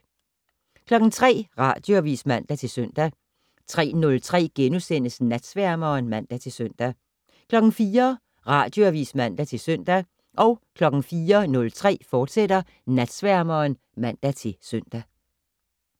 03:00: Radioavis (man-søn) 03:03: Natsværmeren *(man-søn) 04:00: Radioavis (man-søn) 04:03: Natsværmeren, fortsat (man-søn)